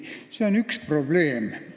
See on üks probleem.